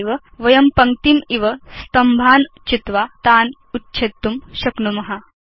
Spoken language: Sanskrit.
तथैव वयं पङ्क्तिम् इव स्तम्भान् चित्वा तान् उच्छेत्तुं शक्नुम